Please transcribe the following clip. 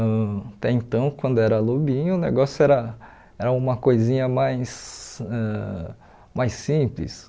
Ãh até então, quando era lobinho, o negócio era era uma coisinha mais ãh mais simples.